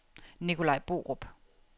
Nicolai Borup